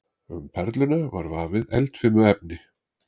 Um perluna var vafið eldfimu efni.